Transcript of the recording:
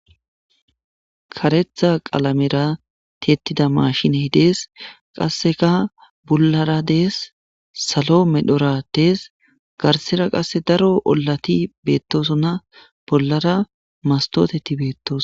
karetha qalamera tettida mashine hidees qasseka bollara dees salo medhora dees garsera qasse daro ollati beettosona bollara mastoteti beettos